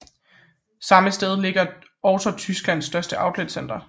Samme sted ligger også Tysklands største outletcenter